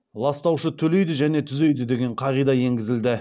ластаушы төлейді және түзейді деген қағида енгізілді